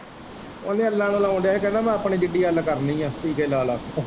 ਉਹ ਨੀ ਅੱਲਾ ਨੂੰ ਲਾਉਣ ਦਿਆਂ ਹੀ ਕਹਿੰਦਾ ਮੈਂ ਆਪਣੀ ਡਿੰਗੀ ਅੱਲ ਕਰਨੀ ਏ ਟੀਕੇ ਲਾ-ਲਾ ਕੇ।